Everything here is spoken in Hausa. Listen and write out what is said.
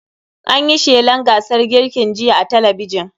An yi shelan gasar girkin jiya a talabijin.